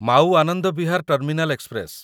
Mau Anand Vihar terminal express